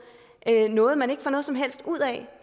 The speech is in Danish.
noget man ikke får noget som helst ud af